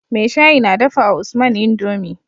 mai shayi na dafawa usman indomie